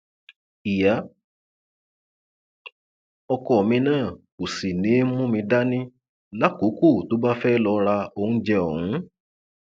ìyá ọkọ mi náà kò sì ní í mú mi dání lákòókò tó bá fẹẹ lọ ra oúnjẹ ọhún